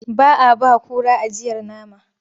Ba a ba kura ajiyar nama.